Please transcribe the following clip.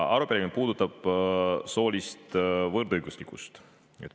Arupärimine puudutab soolist võrdõiguslikkust.